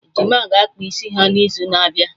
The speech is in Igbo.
Ejima ga-akpa isi ha na izu n'abịa